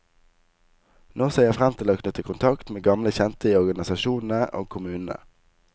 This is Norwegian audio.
Nå ser jeg frem til å knytte kontakt med gamle kjente i organisasjonene og kommunene.